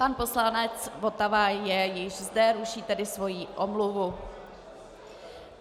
Pan poslanec Votava je již zde, ruší tedy svoji omluvu.